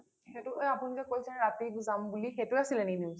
সেইটো কে আপুনি যে কৈছিলে ৰাতি যাম বুলি সেইটো আছিলে নেকি news?